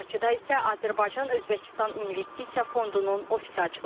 Bakıda isə Azərbaycan-Özbəkistan investisiya fondunun ofisi açılacaq.